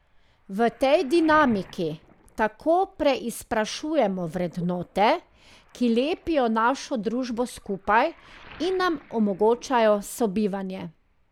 V tej dinamiki tako preizprašujemo vrednote, ki lepijo našo družbo skupaj in nam omogočajo sobivanje.